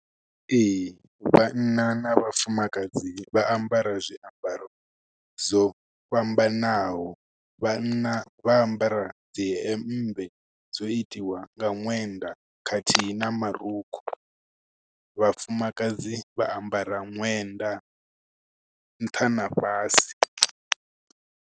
Ee, vhanna na vhafumakadzi vha ambara zwiambaro dzo fhambanaho. Vhanna vha ambara dzi hembe, dzo itiwa nga ṅwenda khathihi na marukhu. Vhafumakadzi vha ambara ṅwenda, nṱha na fhasi.